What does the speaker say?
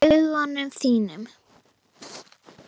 Í augum þínum.